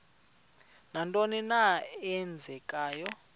nantoni na eenzekayo